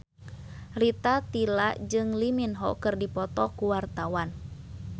Rita Tila jeung Lee Min Ho keur dipoto ku wartawan